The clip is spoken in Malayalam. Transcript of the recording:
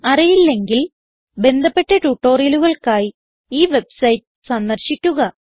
അറിയില്ലെങ്കിൽ ബന്ധപ്പെട്ട ട്യൂട്ടോറിയലുകൾക്കായി ഈ വെബ്സൈറ്റ് സന്ദർശിക്കുക